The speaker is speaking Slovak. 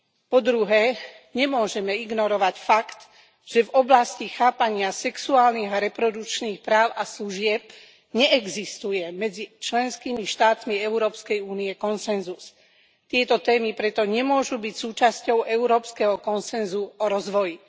Po druhé, nemôžeme ignorovať fakt, že v oblasti chápania sexuálnych a reprodukčných práv a služieb neexistuje medzi členskými štátmi EÚ konsenzus. Tieto témy preto nemôžu byť súčasťou európskeho konsenzu o rozvoji.